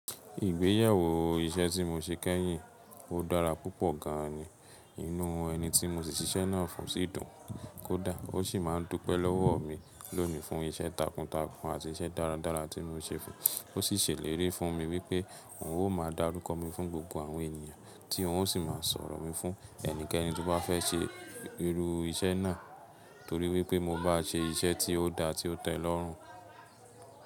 Ìgbéyàwó iṣẹ́ tí mo ṣe kẹ́yìn, ó dára púpọ̀ gan an ni. Inú ẹni tí mo ti síṣẹ́ náà fún sì dùn kódà ó sì máà ń dúpẹ́ lọ́wọ̀ mi lónìí fún iṣẹ́ takuntakun àti iṣẹ́ dáradára tí mo ṣe fún un. Ó sì ṣèlérí fún mi wípẹ́ òun ó máa dárúkọ mi fún gbogbo àwọn ènìyàn tí òun sì máa sọ̀rọ̀ mi fún ẹnikẹ́ni tí ó bá fẹ́ ṣe irú iṣẹ́ náà torí wípẹ́ mo bá ṣe iṣẹ́ tí ó da tí ó tẹ́ lọ́rùn.